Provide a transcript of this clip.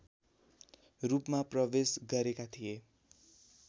रूपमा प्रवेश गरेका थिए